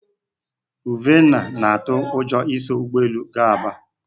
Uvhenna na-atụ ụjọ iso ụgbọelu gaa Aba